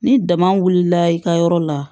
Ni dama wulila i ka yɔrɔ la